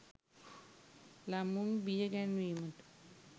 ළමයින් බිය ගැන්වීමට